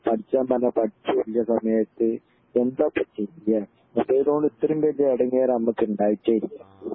പഠിക്കാൻ പറഞ്ഞാൽ പടിക്കെ ഇല്ല സമയത്ത് എന്താപ്പൊ ചെയ്യെ മൊബൈലോണ്ട് ഇത്രേം ബല്യ എടങ്ങേർ ഞമ്മക്ക് ണ്ടായിട്ടേ ഇല്ല